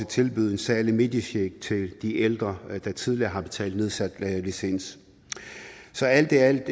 tilbyde en særlig mediecheck til de ældre der tidligere har betalt nedsat licens så alt i alt er